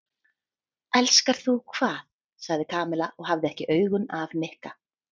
Elskar þú hvað? sagði Kamilla og hafði ekki augun af Nikka.